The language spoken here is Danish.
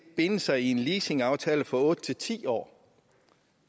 binde sig i en leasingaftale for otte ti år